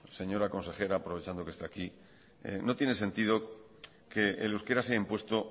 señora consejera aprovechando que está aquí no tiene sentido que el euskera se ha impuesto